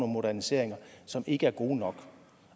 moderniseringer som ikke er gode nok